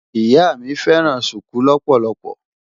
Ìyá mi fẹ́ràn ṣùkú lọ́pọ̀lọpọ̀.